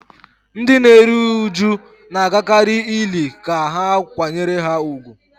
Ndị na-eru uju na-agakarị ili ka ha kwanyere ha ùgwù